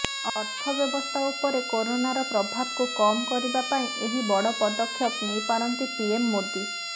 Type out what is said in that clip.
ଅର୍ଥ ବ୍ୟବସ୍ଥା ଉପରେ କରୋନାର ପ୍ରଭାବକୁ କମ କରିବା ପାଇଁ ଏହି ବଡ ପଦକ୍ଷେପ ନେଇ ପାରନ୍ତି ପିଏମ ମୋଦୀ